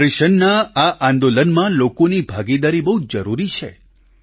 ન્યૂટ્રિશનના આ આંદોલનમાં લોકોની ભાગીદારી પણ બહુ જરૂરી છે